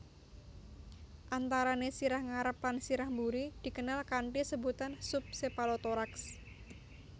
Antarané sirah ngarep lan sirah buri dikenal kanthi sebutan sub chepalothorax